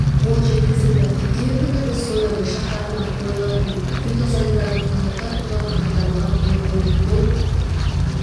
қол жеткізілді қыркүйек күні біз соя бұршақтарына қойылатын фитосанитарлық талаптар туралы хаттамаға қол қойдық бұл